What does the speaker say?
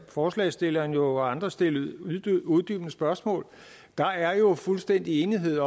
forslagsstillerne og andre jo stille uddybende spørgsmål der er jo fuldstændig enighed